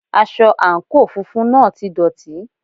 Aṣọ àǹkóò funfun náà ti dọ̀tí.